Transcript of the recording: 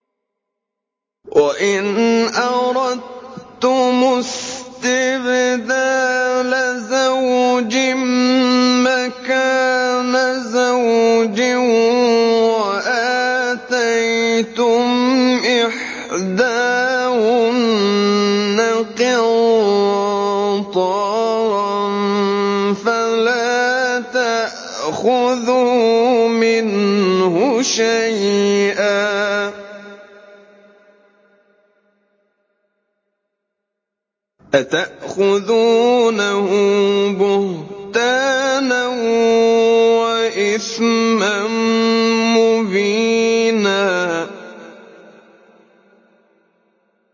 وَإِنْ أَرَدتُّمُ اسْتِبْدَالَ زَوْجٍ مَّكَانَ زَوْجٍ وَآتَيْتُمْ إِحْدَاهُنَّ قِنطَارًا فَلَا تَأْخُذُوا مِنْهُ شَيْئًا ۚ أَتَأْخُذُونَهُ بُهْتَانًا وَإِثْمًا مُّبِينًا